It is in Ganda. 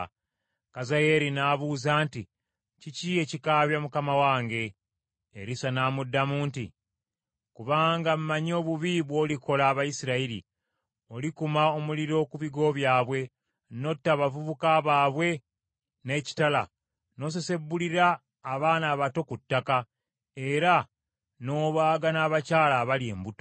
Kazayeeri n’abuuza nti, “Kiki ekikaabya mukama wange?” Erisa n’amuddamu nti, “Kubanga mmanyi obubi bw’olikola Abayisirayiri; olikuma omuliro ku bigo byabwe, n’otta abavubuka baabwe n’ekitala, n’osesebbulira abaana abato ku ttaka, era n’obaaga n’abakyala abali embuto.”